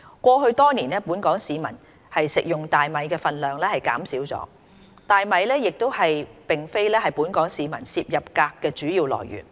過去多年，本港市民食用大米的分量減少了，大米亦並非本港市民攝入鎘的主要來源。